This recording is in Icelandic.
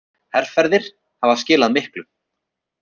Herferðir hafa skilað miklu.